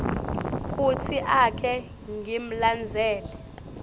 kutsi ake ngimlandzele